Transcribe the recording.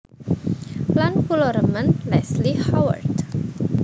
Lan kula remen Leslie Howard